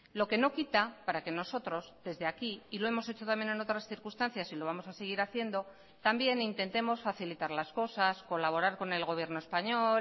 lo que no quita para que nosotros desde aquí y lo hemos hecho también en otras circunstancias y lo vamos a seguir haciendo también intentemos facilitar las cosas colaborar con el gobierno español